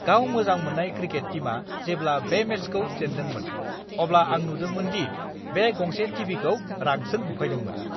गाव मोजां मोननाय क्रिकेट टीमआ जेब्ला बे मेचखौ जेन्दोंमोन, अब्ला आं नुदोंमोन दि बे गंसे टिभिखौ रागजों बुफायदोंमोन!